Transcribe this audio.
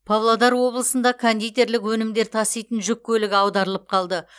павлодар облысында кондитерлік өнімдер таситын жүк көлігі аударылып қалды